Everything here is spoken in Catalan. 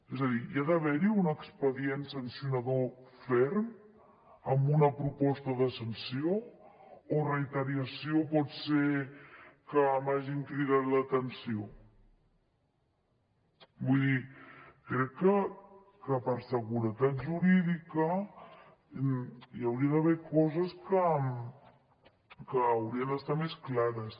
és a dir hi ha d’haver un expedient sancionador ferm amb una proposta de sanció o reiteració pot ser que m’hagin cridat l’atenció vull dir crec que per seguretat jurídica hi hauria d’haver coses que haurien d’estar més clares